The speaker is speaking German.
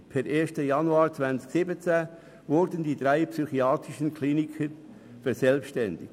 Per 1. Januar 2017 wurden die drei staatlichen psychiatrischen Kliniken verselbstständigt.